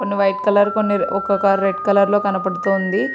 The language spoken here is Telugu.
కొన్ని వైట్ కలర్ కొన్ని రే-ఒక కార్ రెడ్ కలర్ లో కనబడుతూ ఉంది.